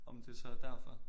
Om det så er derfor